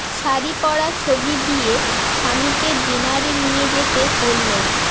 শাড়ি পরা ছবি দিয়ে স্বামীকে ডিনারে নিয়ে যেতে বললেন